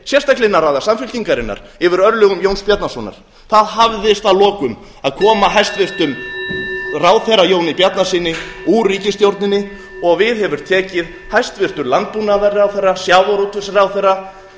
sérstaklega innan raða samfylkingarinnar yfir örlögum jóns bjarnasonar það hafðist að lokum að koma hæstvirtur ráðherra jóni bjarnasyni úr ríkisstjórninni og við hefur tekið hæstvirtur landbúnaðarráðherra sjávarútvegsráðherra